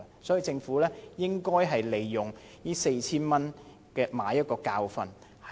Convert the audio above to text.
政府應該利用這次每人"派錢 "4,000 元來買一個教訓。